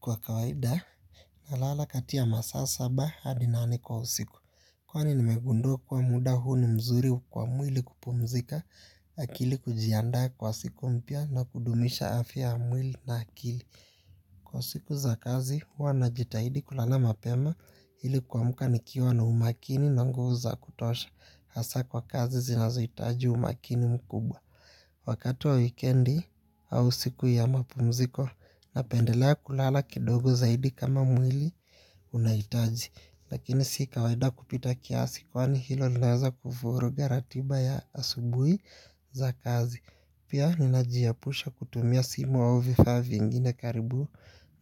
Kwa kawaida nalala kati ya masaa saba hadi nane kwa usiku. Kwa nimegundua kuwa muda huu ni mzuri kwa mwili kupumzika. Akili kujiandaa kwa siku mpya na kudumisha afya ya mwili na akili. Kwa siku za kazi huwa najitahidi kulala mapema ili kuamka nikiwa na umakini na nguvu za kutosha. Hasa kwa kazi zinazoitaji umakini mkubwa. Wakati wa wikendi au siku ya mapumziko napendelea kulala kidogo zaidi kama mwili unaitaji. Lakini si kawaida kupita kiasi kwani hilo linaweza kufurugha ratiba ya asubui za kazi. Pia ninajiapusha kutumia simu au vifaa vingine karibu